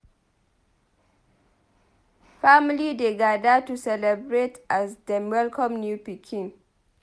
Family dey gather to celebrate as dem welcome new pikin.